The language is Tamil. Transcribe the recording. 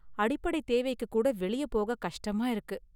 அடிப்படை தேவைக்குக்கூட​ வெளிய போக கஷ்டமாயிருக்கு.